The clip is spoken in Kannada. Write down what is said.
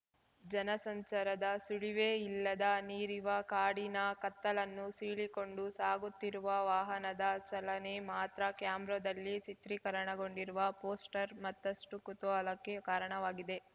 ಜನಸಂಚಾರದ ಸುಳಿವೇ ಇಲ್ಲದ ನೀರಿವ ಕಾಡಿನ ಕತ್ತಲನ್ನು ಸೀಳಿಕೊಂಡು ಸಾಗುತ್ತಿರುವ ವಾಹನದ ಚಲನೆ ಮಾತ್ರ ಕ್ಯಾಮ್ರದಲ್ಲಿ ಚಿತ್ರೀಕರಣಗೊಂಡಿರುವ ಪೋಸ್ಟರ್ ಮತ್ತಷ್ಟುಕುತೂಹಲಕ್ಕೆ ಕಾರಣವಾಗಿದೆ